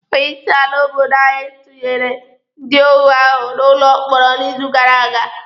Onye isi ala obodo anyị tunyere ndị óhù ahụ n'ụlọ mkpọrọ n'izu gara aga.